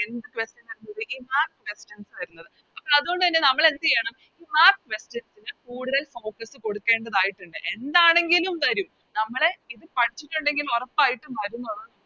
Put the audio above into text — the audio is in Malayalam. Questions വരുന്നത് അപ്പൊ അതുകൊണ്ടന്നെ നമ്മളെന്തെയ്യണം നമ്മളാ Questions ന് കൂടുതൽ Focus കൊടുക്കേണ്ടതായിട്ടുണ്ട് എന്താണെങ്കിലും വരും നമ്മള് ഇത് പഠിച്ചിട്ടുണ്ടെങ്കിൽ ഒറപ്പായിട്ടും വരുംന്നുള്ളത്